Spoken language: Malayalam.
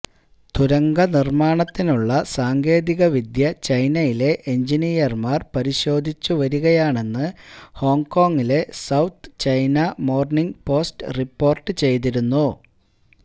തുരങ്കനിർമാണത്തിനുള്ള സാങ്കേതിക വിദ്യ ചൈനയിലെ എൻജിനീയർമാർ പരിശോധിച്ചുവരികയാണെന്നു ഹോങ്കോങ്ങിലെ South China Morning Post report ചെയ്തിരുന്നു